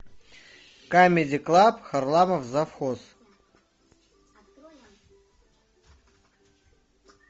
камеди клаб харламов завхоз